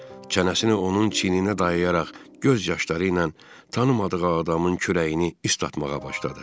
Çənəsini onun çiyninə dayayaraq göz yaşları ilə tanımadığı adamın kürəyini islatmağa başladı.